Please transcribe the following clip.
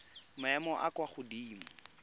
maemong a a kwa godimo